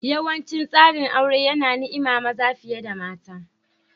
Yawancin tsarin aure yana niima maza fiye da mata.